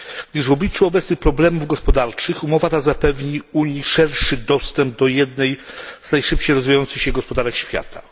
Już w obliczu obecnych problemów gospodarczych umowa ta zapewni Unii szerszy dostęp do jednej z najszybciej rozwijających się gospodarek świata.